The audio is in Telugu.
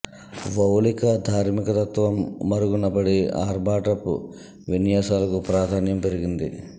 వౌలిక ధార్మిక తత్వం మరుగున పడి ఆర్భాటపు విన్యాసాలకు ప్రాధాన్యం పెరిగింది